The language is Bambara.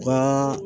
U ka